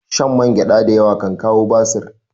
Shan mangyada da yawa kan kawo basir